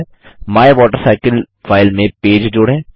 my water cycle file में page जोड़ें